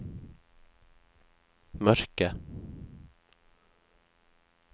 mørke